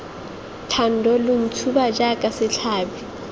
thando lo ntshuba jaaka setlhabi